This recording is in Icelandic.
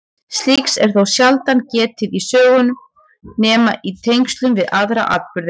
Slíks er þó sjaldan getið í sögum nema í tengslum við aðra atburði.